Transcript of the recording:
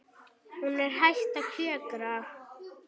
Hún er hætt að kjökra.